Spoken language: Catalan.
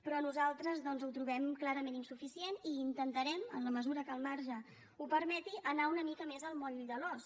però nosaltres doncs ho trobem clarament insuficient i intentarem en la mesura que el marge ho permeti anar una mica més al moll de l’os